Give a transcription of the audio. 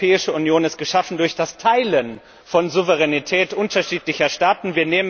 Die Europäische Union ist geschaffen durch das Teilen von Souveränität unterschiedlicher Staaten.